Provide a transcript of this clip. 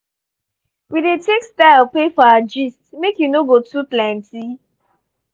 we dey take style pay for our gist make e no go too plenty.